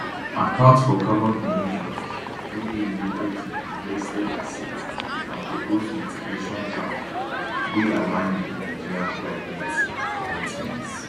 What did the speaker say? account for carbon emissions wey dey related to di divested assets and propose mitigation plans wey align wit nigeria climate commitments